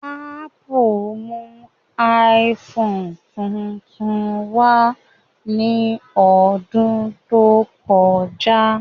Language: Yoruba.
Ápù mú iPhone tuntun wá ní ọdún tó kọjá